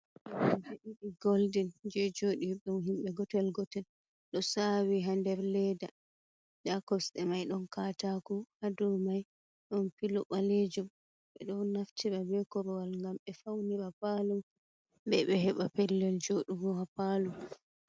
aan be ɗiɗi golden je joodirɗum himbe gootel gootel, ɗo saawi haa nder leeda, nda kosɗe may ɗon kaataako, haa dow may ɗon pilo ɓaleejum, ɓe ɗon naftira bee korwal gam ɓe fawnira paalo may, bee ɓe heɓa pellel jooɗugo ha paalo man.